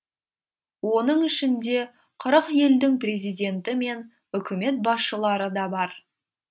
оның ішінде қырық елдің президенті мен үкімет басшылары да бар